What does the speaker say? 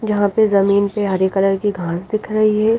जहां पर जमीन पे हरे कलर की घास दिख रही है।